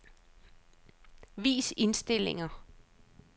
Vis indstillinger.